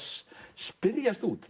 spyrjast út